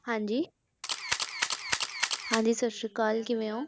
ਹਾਂਜੀ ਹਾਂਜੀ ਸਤਿ ਸ੍ਰੀ ਅਕਾਲ ਕਿਵੇਂ ਹੋ?